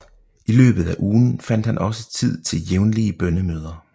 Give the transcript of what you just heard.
I løbet af ugen fandt han også tid til jævnlige bønnemøder